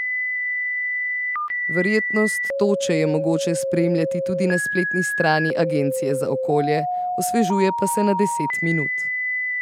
Verjetnost toče je mogoče spremljati tudi na spletni strani agencije za okolje, osvežuje pa se na deset minut.